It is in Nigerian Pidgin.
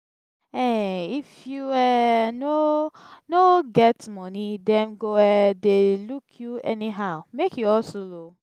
um if you um no no get moni dem go um dey look you anyhow make you hustle o.